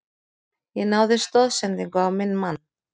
Ég náði stoðsendingu á minn mann.